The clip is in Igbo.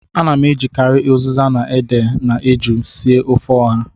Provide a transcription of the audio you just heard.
Ana m ejikarị ụzịza na ede na eju sie ofe ọha